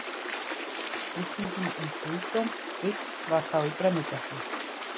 Spurningin um guðdóm Krists var þá í brennidepli.